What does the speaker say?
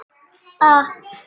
Ég kveð.